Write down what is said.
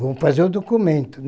Vamos fazer o documento.